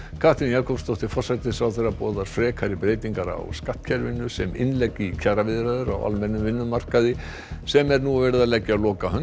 Katrín Jakobsdóttir forsætisráðherra boðar frekari breytingar á skattkerfinu sem innlegg í kjaraviðræður á almennum vinnumarkaði sem er nú verið að leggja lokahönd